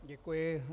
Děkuji.